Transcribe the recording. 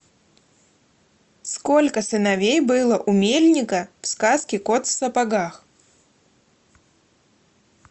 сколько сыновей было у мельника в сказке кот в сапогах